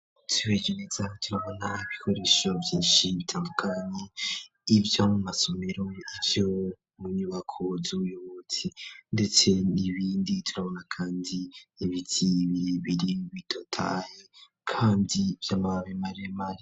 Twihweje neza turabona ibikoresho vyinshi bitandukanye, ivyo mu masomero, ivyo mu nyubako z'ubuyobozi ndetse n'ibindi, turabona kandi ibiti bibiri bitotaya kandi vy'amababi maremare.